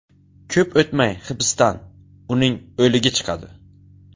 Ko‘p o‘tmay hibsdan... uning o‘ligi chiqadi.